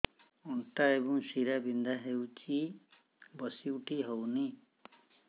ଅଣ୍ଟା ଏବଂ ଶୀରା ବିନ୍ଧା ହେଉଛି ବସି ଉଠି ହଉନି